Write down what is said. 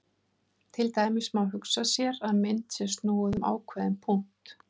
Til dæmis má hugsa sér að mynd sé snúið um ákveðinn punkt.